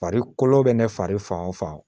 Fari kolo bɛ ne fari fan o fan